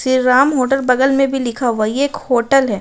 Shri Ram hotel बगल में भी लिखा हुआ है ये एक होटल है।